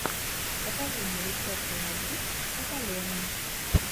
покажи мне рецепты на бис от алены